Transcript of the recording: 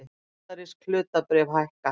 Bandarísk hlutabréf hækka